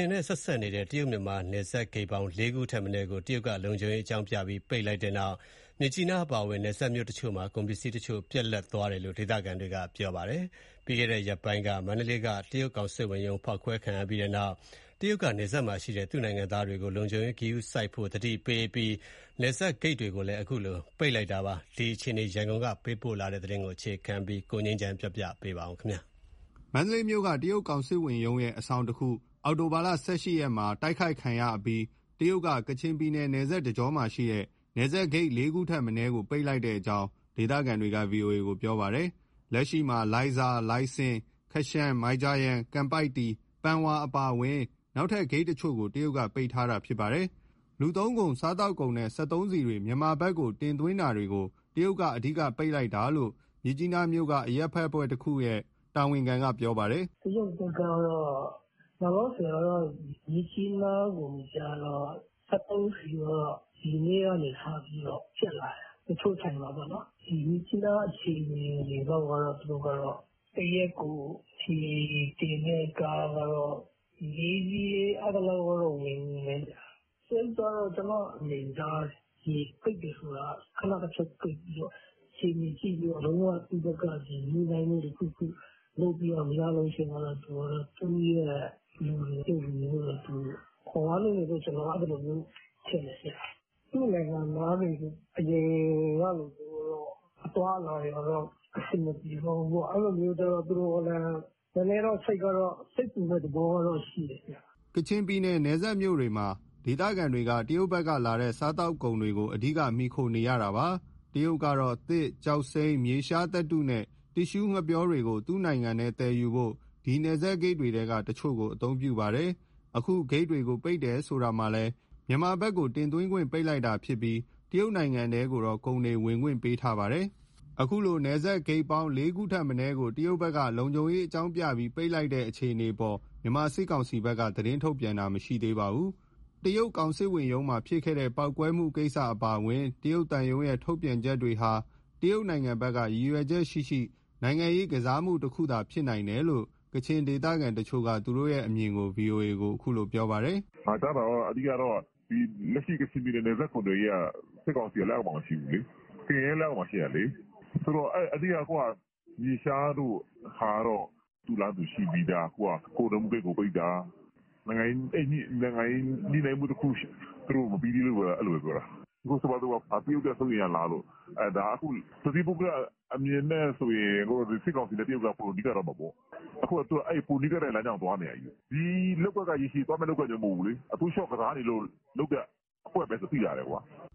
ယ်နဲ့ဆက်နေတဲ့ တရုတ်-မြန်မာ နယ်စပ်ဂိတ်ပေါင်း လေးခုထက်မနည်းကို တရုတ်က လုံခြုံရေးအကြောင်းပြုပြီး ပိတ်ပစ်လိုက်တဲ့နောက် မြစ်ကြီးနားအပါအဝင် နယ်စပ်မြို့တချို့မှာ ကုန်ပစ္စည်းတချို့ ပြတ်လပ်သွားတယ်လို့ ဒေသခံတွေက ပြောပါတယ်။ ပြီးခဲ့တဲ့ရက်ပိုင်းက မန္တလေးက တရုတ်ကောင်စစ်ဝန်ရုံး ဖောက်ခွဲခံရပြီးနောက် တရုတ်က နယ်စပ်မှာရှိတဲ့ သူ့နိုင်ငံသားတွေကို လုံခြုံရေး ဂရုစိုက်ဖို့ သတိပေးပြီး တရုတ်−မြန်မာ နယ်စပ်ဂိတ်တွေကိုလည်း လုံခြုံရေးအကြောင်းပြ ပိတ်လိုက်တာပါ။ မန္တလေးမြို့က တရုတ်ကောင်စစ်ဝန်ရုံးရဲ့ အဆောင်တခု အခုလ ၁၈ရက်မှာ ဖောက်ခွဲ၊ တိုက်ခိုက်ခံရအပြီး တရုတ်က ကချင်ပြည်နယ် နယ်စပ်တကြောမှာရှိတဲ့ နယ်စပ်ဂိတ်လေးခုထက်မနည်းကို ပိတ်လိုက်ကြောင်း ဒေသခံတွေက ဗွီအိုအေကို ပြောပါတယ်။ လက်ရှိမှာ လိုင်ဇာ၊ လိုင်စင်၊ ခရှန်၊ မိုင်ဂျာယန်၊ ကန်ပိုက်တီ၊ ပန်ဝါအပါအဝင် နောက်ထပ်ဂိတ်တချို့ကို တရုတ်က ပိတ်ထားတာ ဖြစ်ပါတယ်။ လူသုံးကုန်၊ စားသောက်ကုန်နဲ့ စက်သုံးဆီတွေ မြန်မာဘက် ပို့တာတွေကို တရုတ်က အဓိက ပိတ်လိုက်တာလို့ မြစ်ကြီးနားမြို့က အရပ်ဘက်အဖွဲ့တခုရဲ့ တာဝန်ခံက ပြောပါတယ်။ " တရုတ်ဘက်ကတော့ လောလောဆယ်တော့ မြစ်ကြီးနားကို စက်သုံးဆီက ဒီနေ့ကနေစပြီး ကျပ်လာတယ် တချို့ဆိုင်မှာပေါ့နော်။ ဒီမြစ်ကြီးနားလောက်က သူတို့က တရက်ကို ဆီတင်တဲ့ကားက လေးစီး အဲသလောက်ဝင်တယ်။ တရုတ်က ကျနော့အမြင်ကြ ပိတ်တယ်ဆိုတာက ခဏတဖြုတ်ပိတ်ပြီး အခြေအနေကြည့်ပြီး လုံးဝ သူ့ဘက်က ညှိနှိုင်းမှုတခုခု လုပ်ပြီးတော့ မရတော့ဘူးဆိုရင် သူ့လူတွေ၊ တရုတ်လူမျိုးတွေသူ ခေါ်ရလိမ့်မယ်လို့ ကျနော်အဲလို ထင်တယ်။ သူ့နိုင်ငံသားတွေ အရင်ကလိုမျိုးတော့ အသွားအလာတွေကတော့ အဆင်မပြေတော့ဘူးပေါ့။ အဲလိုမျိုးကြ သူတို့လည်း နည်းနည်းတော့ စိတ်ပူမဲ့သဘောတော့ ရှိတယ်။" ကချင်ပြည်နယ် နယ်စပ်မြို့တွေမှာ ဒေသခံတွေက တရုတ်ဘက်လာတဲ့ စားသောက်ကုန်တွေကို အဓိက မှီခိုနေရတာပါ။ တရုတ်ကတော့ သစ်၊ ကျောက်စိမ်း၊ မြေရှားသတ္တုနဲ့ တစ်ရှုးငှက်ပျောတွေကို သူ့နိုင်ငံထဲသယ်ယူဖို့ ဒီနယ်စပ်ဂိတ်တွေထဲက တချို့ကို အသုံးပြုပါတယ်။ အခုဂိတ်တွေကို ပိတ်တယ်ဆိုတာမှာလည်း မြန်မာဘက်ကို တင်သွင်းခွင့် ပိတ်လိုက်တာဖြစ်ပြီး တရုတ်နိုင်ငံထဲကိုတော့ ကုန်တွေ ဝင်ခွင့်ပေးထားပါတယ်။ အခုလိုတရုတ်-မြန်မာ နယ်စပ်ဂိတ်ပေါင်း လေးခုထက်မနည်းကို တရုတ်က လုံခြုံရေးအကြောင်းပြုပြီး ပိတ်လိုက်တဲ့အခြေအနေ မြန်မာစစ်ကောင်စီဘက်က သတင်းထုတ်ပြန်တာမရှိသေးပါဘူး။ တရုတ်ကောင်စစ်ဝန်ရုံးမှာ ဖြစ်တဲ့ ပေါက်ကွဲမှုကိစ္စအပါအဝင်၊ တရုတ်သံရုံးရဲ့ ထုတ်ပြန်ချက်တွေဟာ တရုတ်ဘက်က ရည်ရွယ်ချက်ရှိရှိ နိုင်ငံရေး ကစားမှုတခုသာဖြစ်နိုင်တယ်လို့ ကချင်ဒေသခံတချို့က သူတို့အမြင် ဗွီအိုအေကို ပြောပြပါတယ်။ " အဓိကတော့ လက်ရှိ ကချင်ပြည်နယ် နယ်စပ်ကုန်သွယ်ရေးက စစ်ကောင်စီရဲ့ လက်အောက်မှာ မရှိဘူးလေ၊ KIA ရဲ့လက်အောက်မှာ ရှိတာလေ။ ဆိုတော့ အဓိက မြေရှားတို့ကတော့ သူ့လမ်းသူရှိပြီးသား။ အခုက ကုန်သွယ်မှုဂိတ်ကို ပိတ်တာ။ နိုင်ငံရေးညှိနှိုင်းမှု သူတို့မပြီးသေးလို့ အဲလိုပဲပြောတာ။ ဆိုပါစို့ တရုတ် အတွက် စိုးရိမ်ရလားပေါ့ ဒါကတော့ တသီးပုဂ္ဂလ အမြင်နဲ့ဆိုရင် စစ်ကောင်စီနဲ့တရုတ်က ပိုပြီး နီးကပ်သွားမှာပေါ့။ အခုက သူတို့က ပိုနီးကပ်တဲ့လမ်းကြောင်းကို သွားနေတာကိုး။ ဒီလုပ်ကွက် ရေရှည်သွားမဲ့ လုပ်ကွက်မျိုး မဟုတ်ဘူးလေ၊ အတိုးအလျှော့ကစားနေလို့ လုပ်တဲ့ အကွက်ပဲဆိုတာ သိသာတယ်။"